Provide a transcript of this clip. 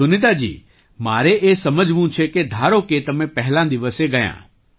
સુનીતાજી મારે એ સમજવું છે કે ધારો કે તમે પહેલા દિવસે ગયાં